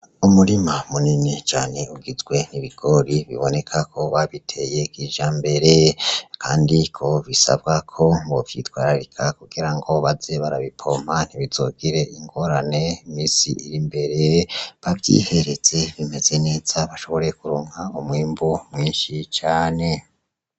Umurima munini cane ugizwe n'ibigori biboneka ko babiteye kija mbere kandi ko bisabwa ko bovyitwararika kugira ngo baze barabipompa ntibizogire ingorane mumisi iri imbere bavyihereze bimeze neza bashobore kuronka umwimbu mwinshi cane.